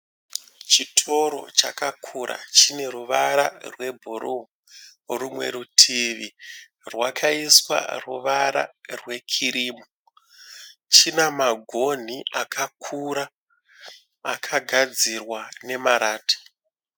Chitoro cakakura chine ruvara rwe bhru. Rumwe rwutivi rwakaiswa ruvara rwe khirimu. China magoni akakura akagadzirwa nemarata.